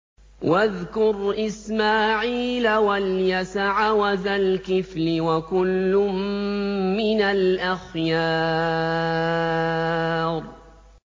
وَاذْكُرْ إِسْمَاعِيلَ وَالْيَسَعَ وَذَا الْكِفْلِ ۖ وَكُلٌّ مِّنَ الْأَخْيَارِ